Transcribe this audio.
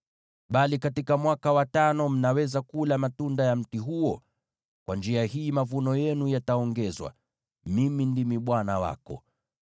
Bali katika mwaka wa tano mnaweza kula matunda ya mti huo. Kwa njia hii mavuno yenu yataongezewa. Mimi ndimi Bwana Mungu wako.